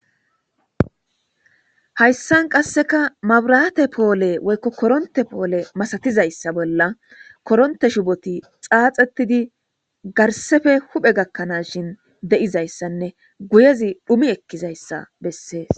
Haysan qaseka maburate pole woy koronte pole masatizaysa bolla koronte shoboti xafetidi ducafe huphe gakanaw guyezi dhumi ekizaysa beses